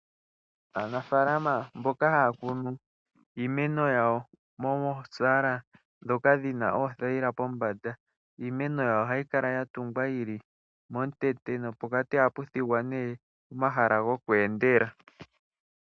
Aanafaalama mboka haya kunu iimeno yawo mosaala ndhoka dhina oothaila pombanda , iimeno yawo ohayi kala ya tungwa yili momutete nopokati ohapu thigwa nee omahala goku endela.